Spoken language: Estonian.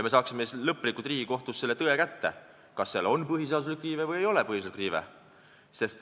Me saaksime siis Riigikohtust kätte selle lõpliku tõe, kas seal on põhiseaduslik riive või ei ole seda.